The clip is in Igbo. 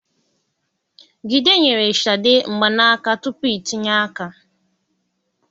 Gide nyere Shade mgbanaka tupu itinye aka.